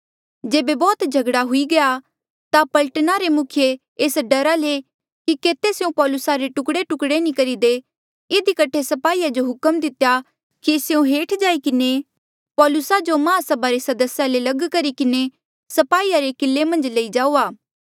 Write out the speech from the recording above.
जेबे बौह्त झगड़ा हुई गया ता पलटना रे मुखिये एस डरा ले कि केते स्यों पौलुसा रे टुकड़ेटुकड़े नी करी दे इधी कठे स्पाहीया जो हुक्म दितेया कि स्यों हेठ जाई किन्हें पौलुसा जो महासभा रे सदस्या ले लग करी किन्हें स्पाहीया रे किले मन्झ लई जाऊआ